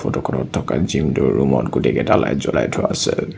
ফটোখনত থকা জিমটোৰ ৰুমত গোটেইকেইটা লাইট জ্বলাই থোৱা আছে।